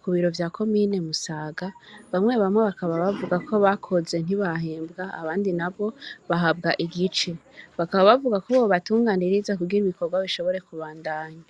ku biro vya komine Musaga, bamwe bamwe bakaba bavuga ko bakoze ntibahembwa, abandi nabo bahabwa igice; bakaba bavuga ko bobatunganiriza kugira ibikorwa bishobore kubandanya.